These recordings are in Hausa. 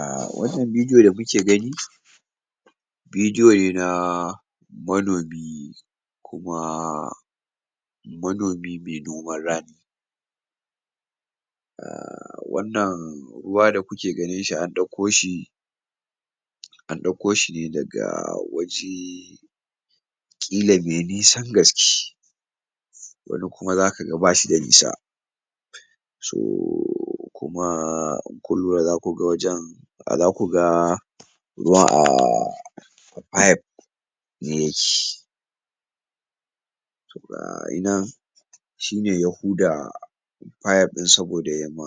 A wannan bidiyo da kuke gani bidiyo ne na manomi kuma manomi mai noman rani. um wannan ruwa da kuke ganin shi an ɗauko shi an ɗauko shi ne daga waje ƙila me nisan gaske. Wani kuma zaka ga bashi da nisa. so kuma in kun lura za ku ga wajen za ku ga ruwa a pipe yake. shine ya huda pipe ɗin saboda ya ma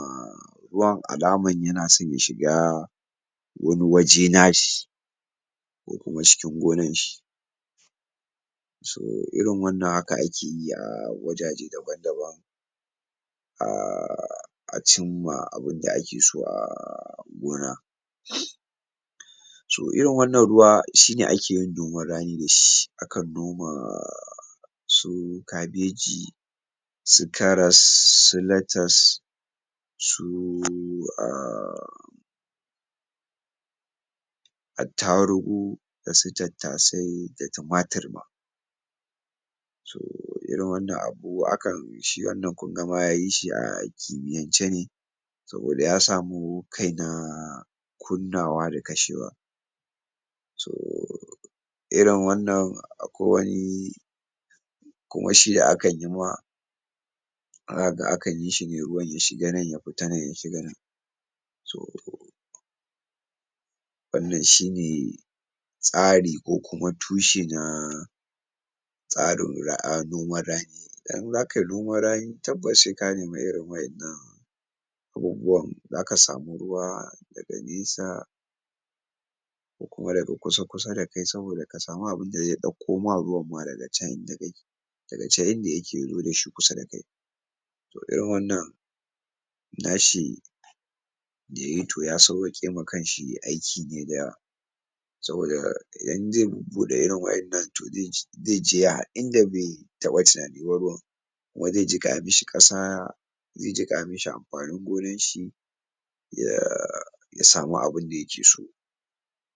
ruwan alaman yana son shiga wani waje na shi ko kuma cikin gonan shi so irin wannan haka ake yi a wajaje daban daban um a cin ma abunda ake so a gona. so irin wannan ruwa shine ake yin noman rani da shi, akan noma su kabeji. su karas su latas su [um} attarugu, da su tattasai da tumatir ma. irin wannan abu akan shi wannan kunga ma yayi shi a kimiyance ne saboda ya samu kai na kunna wa da kashe wa. irin wannan akwai wani kuma shi akan yi ma za kaga akan yi shi ne ruwan ya shiga nan ya pita nan ya shiga nan. So wannan shine tsari ko kuma tushe na tsarin um noman rani. Idan za kayi noman rani tabbas sai ka nemi irin wa'innan abubuwan, za ka samu ruwa daga nesa ko kuma daga kusa kusa da kai saboda ka samu abunda zai ɗauko ma ruwan ma daga can inda kake daga can inda yake yazo da shi kusa da kai. So irin wannan na shi da yayi to ya sawwaƙe ma kanshi aiki ne da yawa saboda idan zai buɗe irin wa'innan to zai je inda bai taɓa tunani ba ruwan kuma zai jiƙa mishi ƙasa zai jiƙa mishi ampanin gonan shi um ya samu abin da yake so.